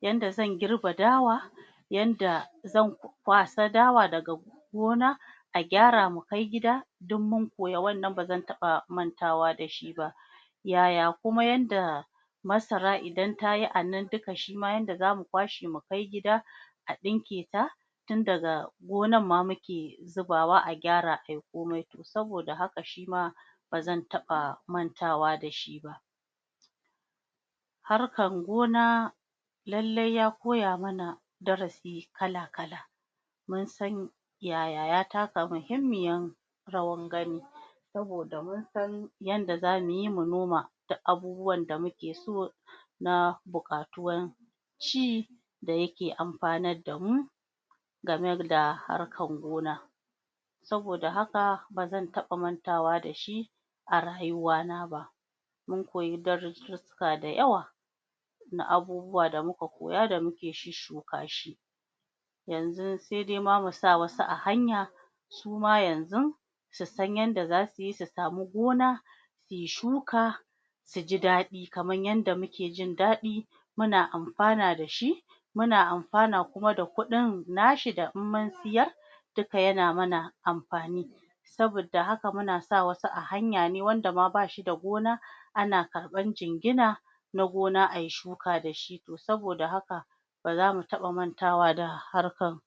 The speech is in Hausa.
yadda zan girbe dawa yanda zan kwasa dawa daga gona a gyara mu kai gida duk mun koyi wannan bazan taba mantawa da shi ba yaya kuma yanda masara idan tayi duka shima yanda zamu kwashe mu kai gida a dinke ta tun daga gonar ma muke zubawa a gyara ayi komai saboda haka shima bazan taba mantawa dashi ba harkan gona lallai ya koya mana darasi kala kala mun san yaya ya taka muhimmiyar rawan gani saboda mun san yanda zamuyi mu noma abubuwan da muke so na bukatuwan ci dayake amfanar da mu game da harkan noma saboda haka bazan taba mantawa da shi a rayuwa na ba mun koyi darussa da yawa na abubuwa da muka koya da muke shusshukawa shi yanzu ma sai dai musa wasu a hanya suma yaanzu su san yadda zasuyi su samu gona suyi shuka suji dadi kamar yadda muke jin dadi muna amfana da shi muna amfana kuma da kudin anshi da in munsiyar duka yana mana amfani saboda haka muna sa wasu a hanya wanda ma bashi da gona ana karban jingina na gona ayi shuka dashi to saboda haka ba zamu taba mantawa da harkan